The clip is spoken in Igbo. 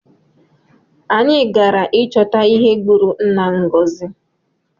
Anyi gara ịchọta ihe gbụrụ nna Ngozi